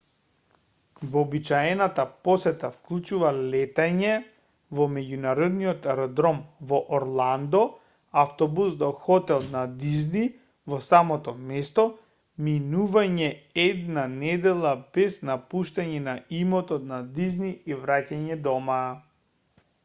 вообичаената посета вклучува летање во меѓународниот аеродром во орландо автобус до хотел на дизни во самото место минување една недела без напуштање на имотот на дизни и враќање дома